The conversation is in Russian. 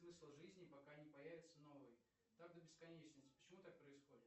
смысл жизни пока не появится новый так до бесконечности почему так происходит